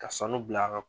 Ka sanu bila a kan